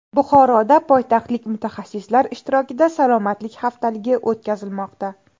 Buxoroda poytaxtlik mutaxassislar ishtirokida salomatlik haftaligi o‘tkazilmoqda.